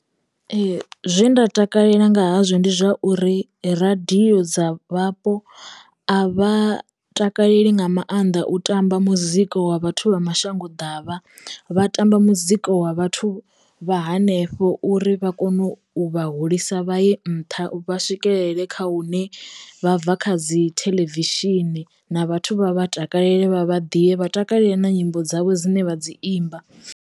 Ee zwe nda takalela nga hazwo ndi zwa uri radio dza vhapo a vha takaleli nga maanḓa u tamba muzika wa vhathu vha mashango ḓavha vha tamba muzika wa vhathu vha hanefho uri vha kono u vha hulisa vhaye nṱha vha swikelele kha hune vha bva kha dzi theḽevishini na vhathu vha vha takalele vha vha da vha takalela na nyimbo dzavho dzine vha dzi imba.